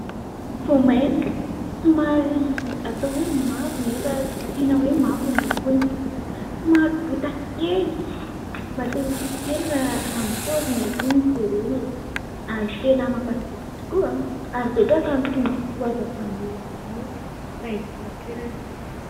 Voamaina somary atao hoe mavo nefa tsy dia tena hoe mavo ny lokony. Somary botakely mahate-ho tia kely raha ny paoziny aloha no jerena e, ary tena mampazoto tokoa ary betaka ny tombontsoa azo avy amin'izy io raha eto an-toerana.